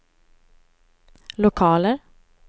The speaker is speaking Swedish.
lokaler